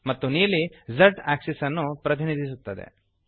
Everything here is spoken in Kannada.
ಮತ್ತು ನೀಲಿ Z ಆಕ್ಸಿಸ್ ಅನ್ನು ಪ್ರತಿನಿಧಿಸುತ್ತದೆ